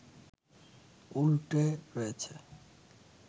উল্টে রয়েছে